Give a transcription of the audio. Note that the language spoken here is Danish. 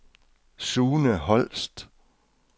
Sune Holst